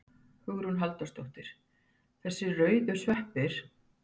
Hugrún Halldórsdóttir: Þessir rauðu sveppir?